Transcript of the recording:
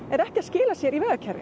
er ekki að skila sér í vegakerfið